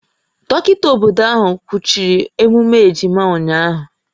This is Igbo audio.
Dọkịta obodo ahụ kwụchiri emume ejima ụnyahụ